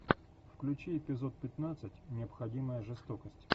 включи эпизод пятнадцать необходимая жестокость